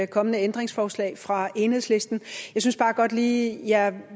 kommende ændringsforslag fra enhedslisten jeg synes bare godt lige jeg